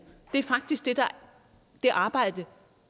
det er faktisk det arbejde